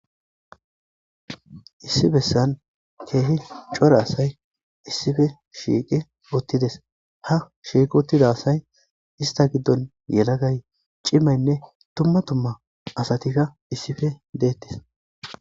Issi bessan keehi cora asay issife shiiqi oottides ha shiiqotida asay ista giddon yelagay cimaynne tumma tumma asatikka issife deettes.